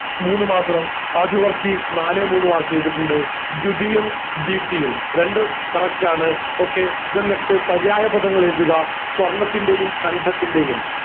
മൂന്ന് മാത്രം ഷാജു വർക്കി നാല് മൂന്ന് mark ചെയ്തിറ്റിണ്ട് ധ്യുതിയും ദീപ്തിയും രണ്ടും correct ആണ് okay then next പര്യായ പാദങ്ങൾ എഴുതുക സ്വർണത്തിൻറെയും കണ്ടത്തിൻറെയും